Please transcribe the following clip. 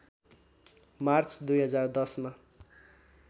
March २०१० मा